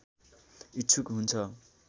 इच्छुक हुन्छ